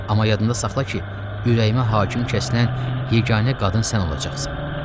Amma yadında saxla ki, ürəyimə hakim kəsilən yeganə qadın sən olacaqsan.